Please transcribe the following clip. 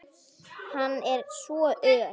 Hann er svo ör!